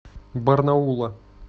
барнаула